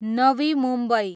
Navi Mumbai